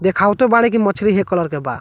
देखावतो बाड़ो के मछली के कलर के बा।